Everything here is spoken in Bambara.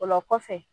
O la kɔfɛ